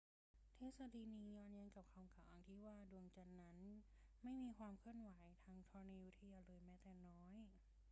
ทฤษฎีนี้ย้อนแย้งกับคำกล่าวอ้างที่ว่า ดวงจันทร์นั้นไม่มีความเคลื่อนไหวทางธรณีวิทยาเลยแม้แต่น้อย